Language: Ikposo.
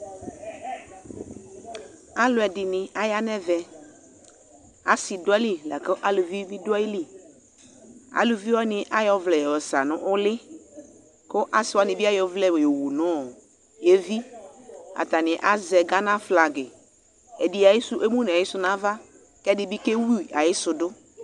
Alɛde ne aya nɛvɛAs do ayili lako alubi do ayiliqAluvi wane ayɔ ɔvlɛ sa no ule ko ase wane ba ayɔ ɔblɛ yɔ wu no eviAtane azɛ Gana flagiƐde emu na yesu nava, kɛ ɛde be kewu ayeso do